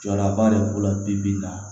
Jɔlaba de b'u la bi bi in na